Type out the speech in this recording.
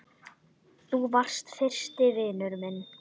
Þú varst fyrsti vinur minn.